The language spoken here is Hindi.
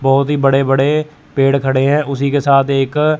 बहोत ही बड़े-बड़े पेड़ खड़े हैं उसी के साथ एक --